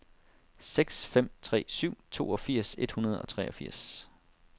seks fem tre syv toogfirs et hundrede og treogfirs